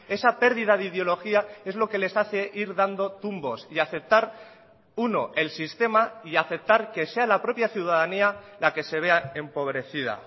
esa pérdida de ideología es lo que les hace ir dando tumbos y aceptar uno el sistema y aceptar que sea la propia ciudadanía la que se vea empobrecida